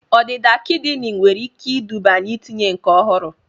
Ọdịda kidini nwere ike iduba n'itinye nke ọhụrụ